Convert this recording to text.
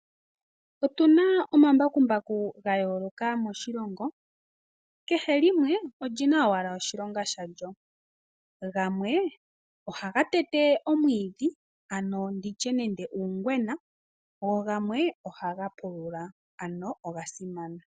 Otu na omambakumbaku ga yooloka moshilongo. Kehe limwe oli na owala oshilonga shalyo. Gamwe ohaga tete omwiidhi ano ndi tye uungwena, go gamwe ohaga pulula ano oga simana.